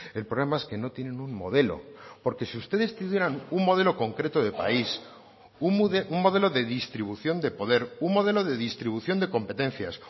el problema es que no tienen un modelo porque si ustedes tuvieran un modelo concreto de país un modelo de distribución de poder un modelo de distribución de competencias